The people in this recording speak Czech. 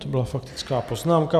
To byla faktická poznámka.